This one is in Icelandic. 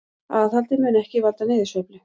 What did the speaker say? Aðhaldið mun ekki valda niðursveiflu